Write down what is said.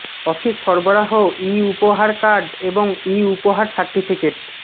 office সরবরাহ e উপহার card এবং ই উপহার সার্টিফিকেট